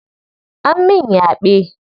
An min yaɓe.